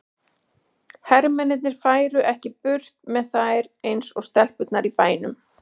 Hermennirnir færu ekki burt með þær eins og stelpurnar í bænum.